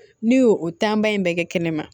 N'i y'o o tanba in bɛɛ kɛ kɛnɛ ma